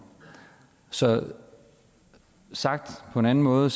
så sagt på en anden måde